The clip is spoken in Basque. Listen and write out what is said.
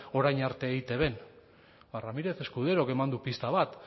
orain arte eitbn ba ramírez escuderok eman du pista bat